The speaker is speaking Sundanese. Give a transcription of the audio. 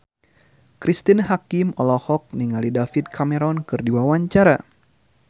Cristine Hakim olohok ningali David Cameron keur diwawancara